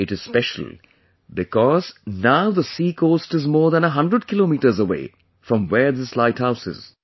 It is special, because now the sea coast is more than a hundred kilometers away from where this light house is